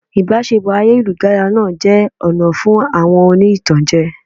Ìbáṣepọ̀ ayélujára náà jẹ́ ọ̀nà fún àwọn oní ìtànjẹ.